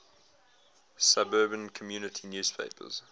suburban community newspapers